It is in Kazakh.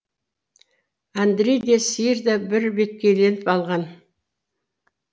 әндрей де сиыр да бірбеткейленіп алған